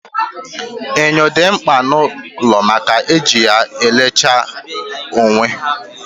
Enyo dị mkpa n'ụlọ maka na e ji ya elecha onwe